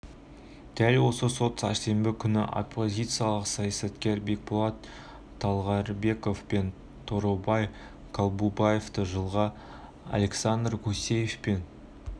дәл осы сот сәрсенбі күні оппозициялық саясаткерлер бекболот талгарбеков пен торобай колубаевты жылға александр гусев пен